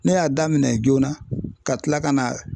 Ne y'a daminɛ joona ka tila ka na